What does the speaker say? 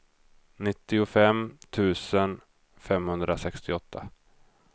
nittiofem tusen femhundrasextioåtta